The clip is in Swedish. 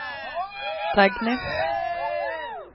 Dagny